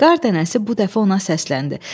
Qar dənəsi bu dəfə ona səsləndi.